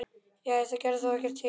Jæja, það gerði þá ekkert til.